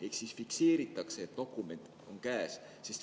Ehk siis fikseeritakse, et dokument on käes.